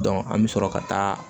an bɛ sɔrɔ ka taa